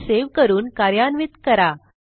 file save करून कार्यान्वित करा